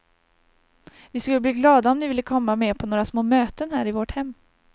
Vi skulle bli glada om ni ville komma med på några små möten här i vårt hem.